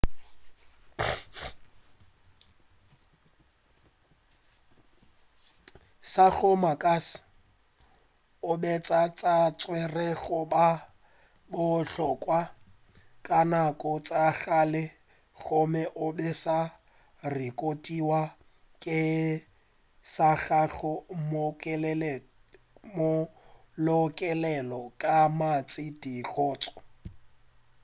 sa go makatša o be a sa tšerwe go ba o bohlokwa ka nako tša kgale gomme o be a sa rekotiwa ka gare ga malokelelo a mantši a dikgoši